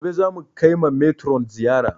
Gobe za mu kai ma metron ziyara